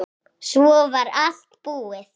Svo var allt búið.